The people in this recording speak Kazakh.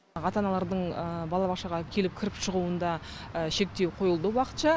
ата аналардың балабақшаға келіп кіріп шығуында шектеу қойылды уақытша